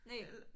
Næ